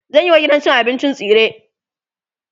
zanyi wa gidan cin abincin tsire